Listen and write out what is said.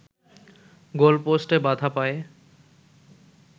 গোলপোস্টে বাধা পায়